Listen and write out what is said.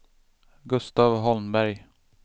Gustav Holmberg